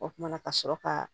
O kumana ka sɔrɔ ka